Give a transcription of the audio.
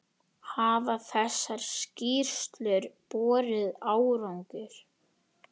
Hafa þessar skýrslur borið árangur?